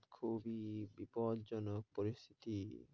খুবই বিপদজনক পরিস্থিতি।